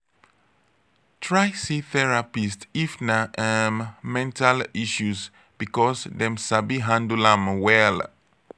try see therapist if na um mental issues because dem sabi handle am well